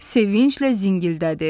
Sevinclə zingildədi.